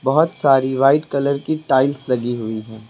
बहुत सारी white colour की टाइल्स लगी हुई हैं।